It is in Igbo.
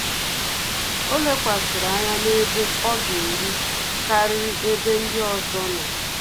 Ọ́ lékwàsị̀rị̀ ányá n’ébé ọ́ gà-érú kàrị́rị́ ébé ndị ọzọ nọ́.